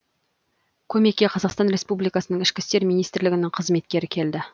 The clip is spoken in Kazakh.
көмекке қазақстан республикасының ішкі істер министрлігінің қызметкері келді